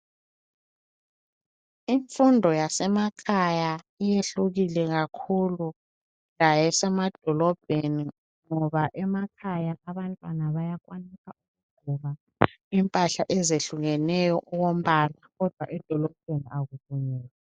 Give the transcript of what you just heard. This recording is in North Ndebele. Imfundo yasemakhaya iyehlukile kakhulu lasemadolobheni ngoba emakhaya abantwana bayakwanisa ukugqoka impahla ezehlukeneyo okombala kodwa edolobheni akuvunyelwa.